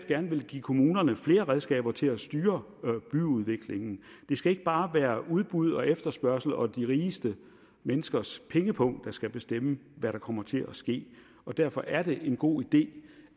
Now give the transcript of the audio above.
gerne vil give kommunerne flere redskaber til at styre byudviklingen det skal ikke bare være udbud og efterspørgsel og de rigeste menneskers pengepung der skal bestemme hvad der kommer til at ske og derfor er det en god idé